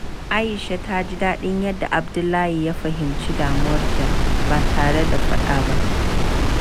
Aisha ta ji daɗin yadda Abdullahi ya fahimci damuwarta ba tare da ta faɗa ba.